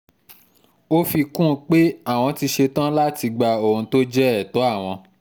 ó fi kún un pé àwọn ti ṣetán láti gba ohun tó jẹ́ ẹ̀tọ́ àwọn